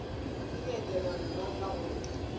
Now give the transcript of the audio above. ke leetwana mma ka gore